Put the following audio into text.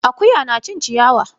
Akuya na cin ciyawa.